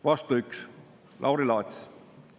Vastu 1: Lauri Laats.